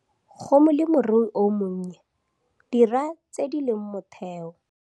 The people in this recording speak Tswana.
Go molemirui o monnye - dira tse di leng motheo.